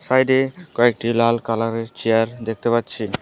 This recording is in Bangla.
সাইডে কয়েকটি লাল কালারের চেয়ার দেখতে পাচ্ছি।